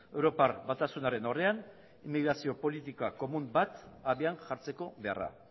europar batasunaren aurrean migrazio politika komun bat abian jartzeko beharra